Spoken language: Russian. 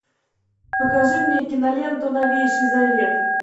покажи мне киноленту новейший завет